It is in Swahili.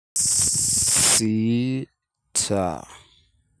Sita.